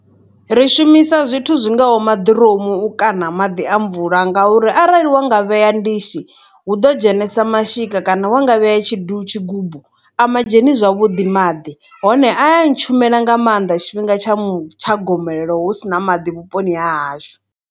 Ri shumisa zwithu zwingaho maḓiromu u ka na maḓi a mvula ngauri arali wa nga vhea ndishi hu ḓo dzhenesa mashika kana wa nga vhea tshidu, tshigubu a ma dzheni zwavhuḓi maḓi hone a ya na tshumela nga maanḓa tshifhinga tsha tsha gomelelo hu sina maḓi vhuponi ha hashu.